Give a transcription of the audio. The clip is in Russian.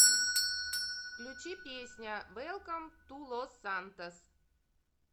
включи песня вэлком ту лос сантос